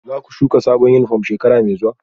Za ku shuka sabon yunifom shekara mai zuwa?